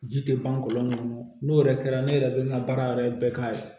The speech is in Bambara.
Ji tɛ ban kɔlɔn kɔnɔ n'o yɛrɛ kɛra ne yɛrɛ bɛ n ka baara yɛrɛ bɛɛ k'a ye